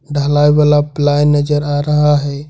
ढलाई वाला प्लाई नजर आ रहा है।